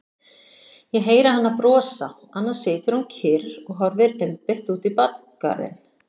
Ég heyri hana brosa, annars situr hún kyrr og horfir einbeitt út í bakgarðinn.